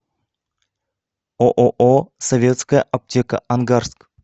ооо советская аптека ангарск